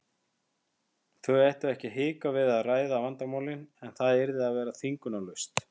Þau ættu ekki að hika við að ræða vandamálin en það yrði að vera þvingunarlaust.